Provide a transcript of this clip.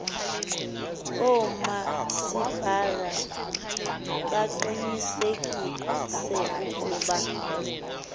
oomasipala baqinisekise ukuba